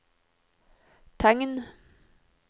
tegn